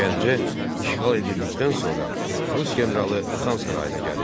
Gəncə işğal edildikdən sonra rus generalı Xan sarayına gəlir.